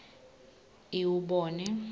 iwubone